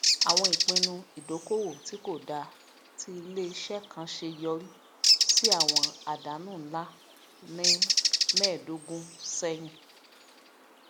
àwọn ìpinnu ìdókòòwò tí kò dáa tí ilé iṣẹ kan ṣe yọrí sí àwọn àdánù ńlá ní mẹẹdọgún sẹyìn